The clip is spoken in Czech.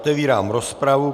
Otevírám rozpravu.